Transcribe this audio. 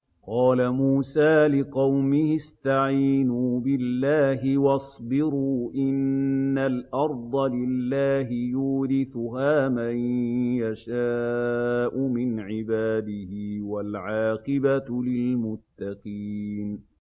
قَالَ مُوسَىٰ لِقَوْمِهِ اسْتَعِينُوا بِاللَّهِ وَاصْبِرُوا ۖ إِنَّ الْأَرْضَ لِلَّهِ يُورِثُهَا مَن يَشَاءُ مِنْ عِبَادِهِ ۖ وَالْعَاقِبَةُ لِلْمُتَّقِينَ